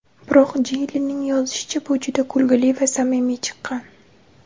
Biroq Jeylinning yozishicha, bu juda kulgili va samimiy chiqqan.